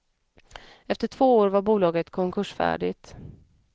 Efter två år var bolaget konkursfärdigt.